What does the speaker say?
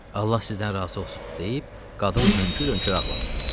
Allah sizdən razı olsun deyib, qadın hönkür-hönkür ağladı.